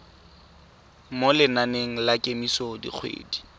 mo lenaneng la kemiso dikgwedi